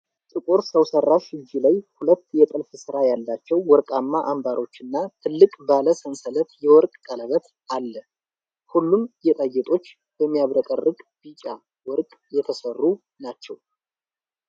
ጥቁር ሰው ሠራሽ እጅ ላይ ሁለት የጥልፍ ሥራ ያላቸው ወርቃማ አምባሮችና ትልቅ ባለ ሰንሰለት የወርቅ ቀለበት አለ። ሁሉም ጌጣጌጦች በሚያብረቀርቅ ቢጫ ወርቅ የተሠሩ ናቸው።